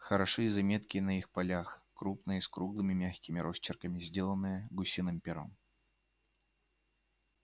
хороши и заметки на их полях крупно и с круглыми мягкими росчерками сделанные гусиным пером